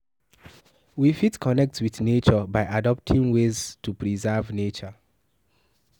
We fit connect with nature by adopting ways to preserve nature